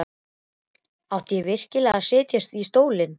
Átti ég virkilega að setjast í stólinn?